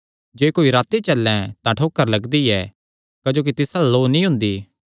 जे कोई राती चल्लैं तां ठोकर लगदी ऐ क्जोकि तिस अल्ल लौ नीं हुंदी